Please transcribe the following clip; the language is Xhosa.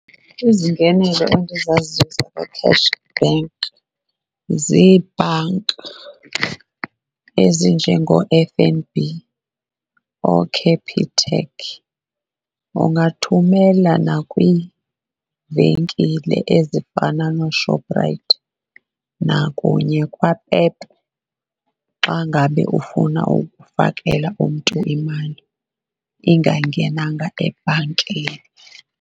Izingenelo endizaziyo zakwa-cash bank zebhanki ezinjengoo-F_N_B, ooCapitec. Ungathumela nakwiivenkile ezifana noShoprite nakunye kwaPep xa ngabe ufuna ukufakela umntu imali engangenanga ebhankini.